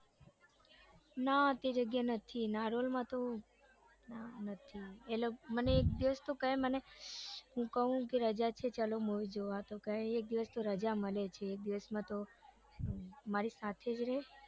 ના તે જગ્યાએ નથી નારોલમાંતો ના નથી મને એક દિવસ તો કે મને હું કૌ ચાલો movie જોવા તો એક દિવસ તો રજા મળે છે એક દિવાસમાંતો મારી સાથે જ રે